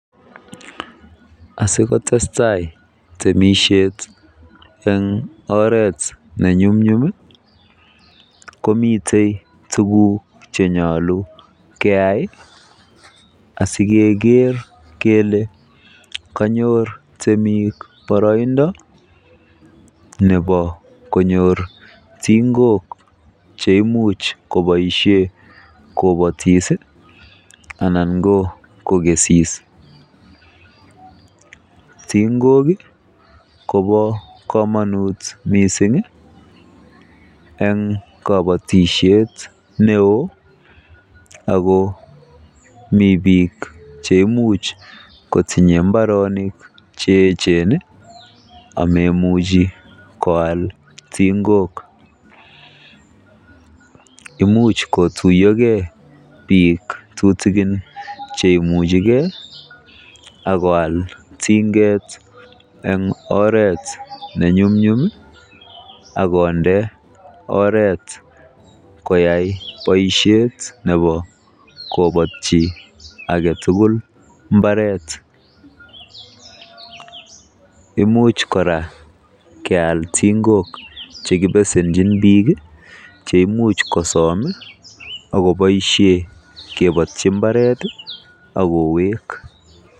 Asikotestai temisiet en oret ne nyumnyum komiten tuguk chenyolu keyai asikeker kele kanyor temik boroindo nebo konyor tingok cheimuch koboisie kobotis anan ko kokesis tingok kobo komonut mising eng kobotisiet neo ago mi biik che imuch kotinye mbarenik che eechen ameimuchi koal tingok. Imuch kotuiyoge biik tutikin cheiuche ge ak koal tinget en oret nenyumnyum ak konde oret koyai boisiet nebo kobatyi age tugul mbaret imuch kora keal ting'ok che kibesenjin biik ch eimuch kosom ak koboiisie kobotyi mbaret ak kowek.